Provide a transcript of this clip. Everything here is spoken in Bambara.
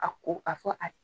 A ko, a fɔ